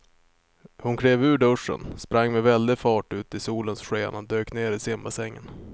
Hon klev ur duschen, sprang med väldig fart ut i solens sken och dök ner i simbassängen.